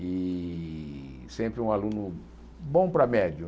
E sempre um aluno bom para médio.